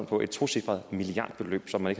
om et tocifret milliardbeløb som man